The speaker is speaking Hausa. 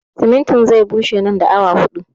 Simintin zai bushe nan da awa huɗu